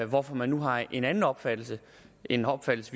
hvorfor man nu har en anden opfattelse en opfattelse